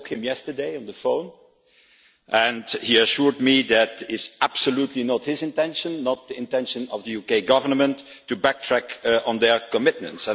I spoke to him yesterday on the phone, and he assured me that it is absolutely not his intention, nor the intention of the UK Government, to backtrack on their commitments.